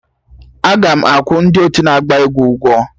Aga akwụ ndị otu na-agba egwu ụgwọ?